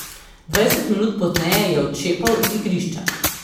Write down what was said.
Dvajset minut pozneje je odšepal z igrišča.